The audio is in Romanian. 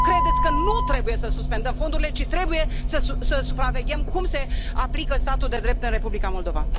Nu credeți că nu trebuie să suspendăm fondurile, ci trebuie să supraveghem cum se aplică statul de drept în Republica Moldova?